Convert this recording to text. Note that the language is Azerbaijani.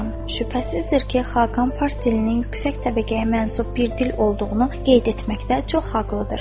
Şübhəsizdir ki, Xaqan fars dilinin yüksək təbəqəyə mənsup bir dil olduğunu qeyd etməkdə çox haqlıdır.